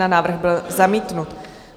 Návrh byl zamítnut.